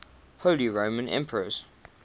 holy roman emperors